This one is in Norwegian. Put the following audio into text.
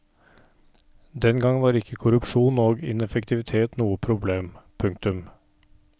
Den gang var ikke korrupsjon og ineffektivitet noe problem. punktum